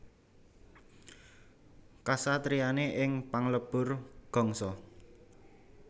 Kasatriyané ing Panglebur Gangsa